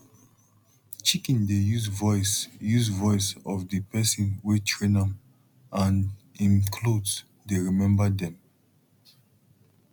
chicken dey use voice use voice of di pesin wey train am and em cloth dey remember dem